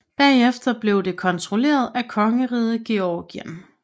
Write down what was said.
Bagefter blev det kontrolleret af kongeriget Georgien